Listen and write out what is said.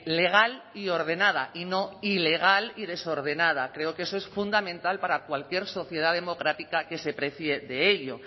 legal y ordenada y no ilegal y desordenada creo que eso es fundamental para cualquier sociedad democrática que se precie de ello